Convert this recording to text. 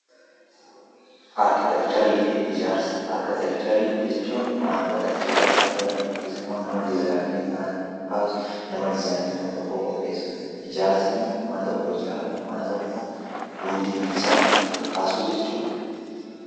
Arkiteekcharii jechuun waantota ijaarsaaf oolan yookiis immoo nama dizzaayinii mana tokko kaasu, nama dizzaayinii mana tokkoo qopheessudha. Ijaarsi immoo mana tokko ijaaruu, mana tokko ol kaasuu jechuudha.